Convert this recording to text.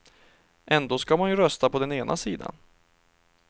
Ändå ska man ju rösta på den ena sidan.